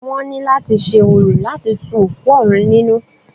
Wọ́n ní láti ṣe orò láti tu òkú òrun nínú.